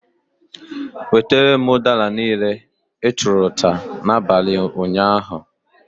Wetere m udara niile, ị tụụrụ n'abalị ụnyaahụ!